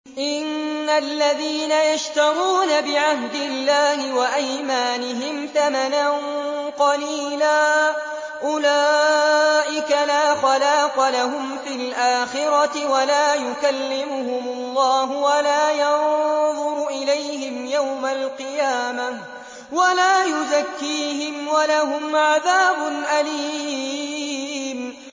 إِنَّ الَّذِينَ يَشْتَرُونَ بِعَهْدِ اللَّهِ وَأَيْمَانِهِمْ ثَمَنًا قَلِيلًا أُولَٰئِكَ لَا خَلَاقَ لَهُمْ فِي الْآخِرَةِ وَلَا يُكَلِّمُهُمُ اللَّهُ وَلَا يَنظُرُ إِلَيْهِمْ يَوْمَ الْقِيَامَةِ وَلَا يُزَكِّيهِمْ وَلَهُمْ عَذَابٌ أَلِيمٌ